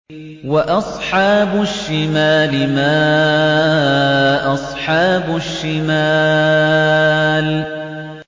وَأَصْحَابُ الشِّمَالِ مَا أَصْحَابُ الشِّمَالِ